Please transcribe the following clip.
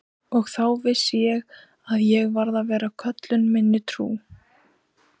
Og þá vissi ég að ég varð að vera köllun minni trú.